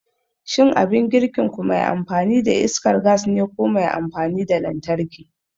Shin abin girkinku me amfani da iskar gas ne ko me amfani da lantarki?